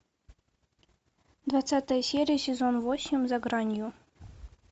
двадцатая серия сезон восемь за гранью